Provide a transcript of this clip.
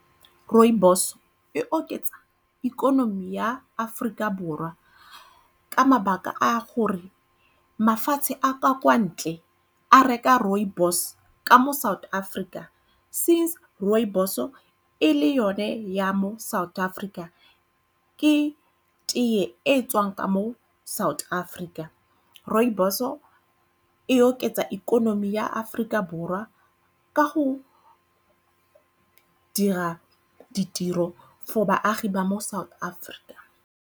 Rooibos e oketsa ikonomi ya Aforika Borwa ka mabaka a gore mafatshe a ka kwa ntle a reka rooibos ka mo South Africa since rooibos-o e le yone ya mo South Africa. Ke tee e e tswang ka mo South Africa. Rooibos-o e oketsa ikonomi ya Aforika Borwa ka go dira ditiro for baagi ba mo South Africa.